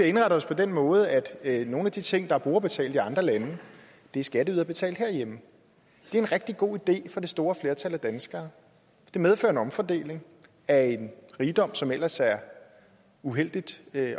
indrettet os på den måde at nogle af de ting der er brugerbetalt i andre lande er skatteyderbetalt herhjemme det er en rigtig god idé for det store flertal af danskere det medfører en omfordeling af en rigdom som ellers er uheldigt